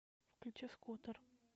включи скутер